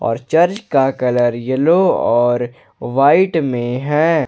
और चर्च का colour yellow और वाइट में है।